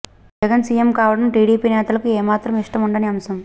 Jagan CM కావడం TDP నేతలకు ఏమాత్రం ఇష్టం ఉండని అంశం